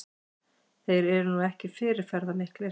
Þeir eru nú ekki fyrirferðarmiklir